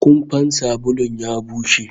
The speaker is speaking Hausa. Kumfan sabulu ya bushe